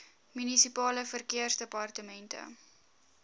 munisipale verkeersdepartemente